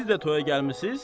Siz də toyaya gəlmisiz?